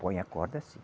Põe a corda sim.